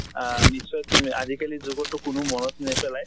আহ নিশ্চয় তুমি আজি কালি যুগ্ত তো কোনো মনত নেপেলায়